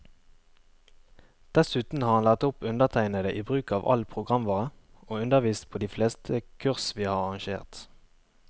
Dessuten har han lært opp undertegnede i bruk av all programvare, og undervist på de fleste kurs vi har arrangert.